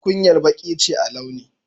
Tukuyar Baki ce a launi.